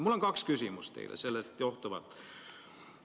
Mul on sellest johtuvalt teile kaks küsimust.